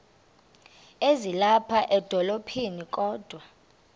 ezilapha edolophini kodwa